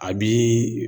A bi